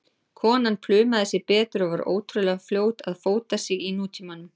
Konan plumaði sig betur og var ótrúlega fljót að fóta sig í nútímanum.